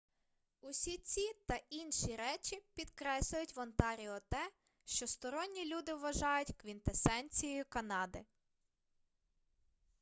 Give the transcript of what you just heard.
усі ці та інші речі підкреслюють в онтаріо те що сторонні люди вважають квінтесенцією канади